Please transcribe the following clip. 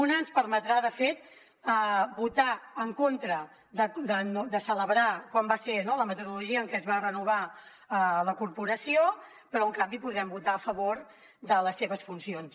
una ens permetrà de fet votar en contra de celebrar com va ser la metodologia en què es va renovar la corporació però en canvi podrem votar a favor de les seves funcions